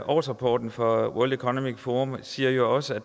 årsrapporten fra world economic forum siger jo også at